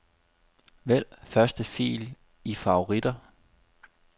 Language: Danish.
Vælg første fil i favoritter.